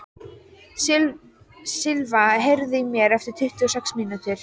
Silva, heyrðu í mér eftir tuttugu og sex mínútur.